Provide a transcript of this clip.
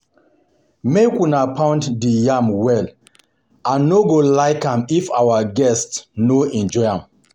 Make una pound the yam well, I no go like am if our guests no enjoy am